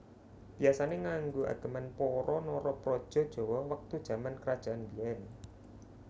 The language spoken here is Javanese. Biasane nganggo ageman para Narapraja Jawa wektu jaman kerajaan biyen